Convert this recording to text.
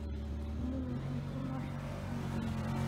Shinnidu waxay ku nooshahay cuncun.